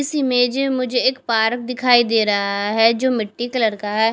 इस इमेज में मुझे एक पार्क दिखाई दे रहा है जो मिट्टी कलर का है।